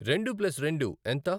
రెండు ప్లస్ రెండు ఎంత?